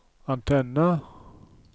antenne